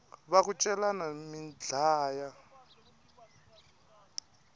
va ku celani mi dlaya